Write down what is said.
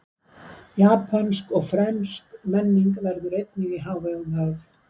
Japönsk og frönsk menning verður einnig í hávegum höfð.